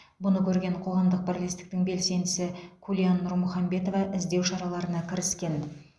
бұны көрген қоғамдық бірлестіктің белсендісі күлян нұрмұхамбетова іздеу шараларына кіріскен